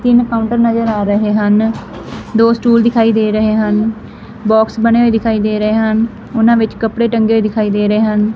ਤਿੰਨ ਕਾਉੰਟਰ ਨਜਰ ਆ ਰਹੇ ਹਨ ਦੋ ਸਟੂਲ ਦਿਖਾਈ ਦੇ ਰਹੇ ਹਨ ਬੌਕਸ ਬਨੇ ਹੋਏ ਦਿਖਾਈ ਦੇ ਰਹੇ ਹਨ ਓਹਨਾਂ ਵਿੱਚ ਕੱਪੜੇ ਟੰਗੇ ਹੋਏ ਦਿਖਾਈ ਦੇ ਰਹੇ ਹਨ।